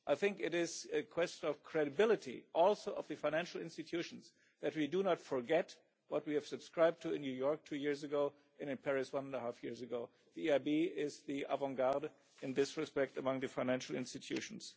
I think it is a question of credibility also of the financial institutions that we do not forget what we subscribed to in New York two years ago and in Paris one and a half years ago. The EIB is in the vanguard in this respect among the financial institutions.